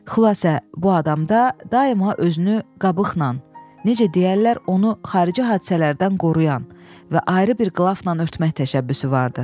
Xülasə, bu adamda daima özünü qabıqla, necə deyərlər, onu xarici hadisələrdən qoruyan və ayrı bir qlafla örtmək təşəbbüsü vardı.